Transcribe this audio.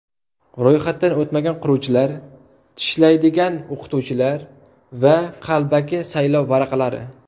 Ro‘yxatdan o‘tmagan quruvchilar, tishlaydigan o‘qituvchilar hamda qalbaki saylov varaqalari.